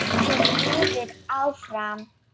hélt Lilla áfram.